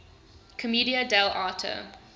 commedia dell arte